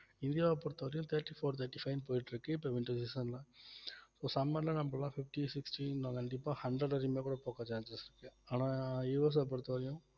இந்தியாவைப் பொறுத்தவரைக்கும் thirty-four thirty-five ன்னு போயிட்டு இருக்கு இப்ப winter season ல so summer ல நம்ப எல்லாம் fifty sixty இன்னும் கண்டிப்பா hundred வரையுமே கூட போக chances இருக்கு ஆனா US அ பொறுத்தவரையும்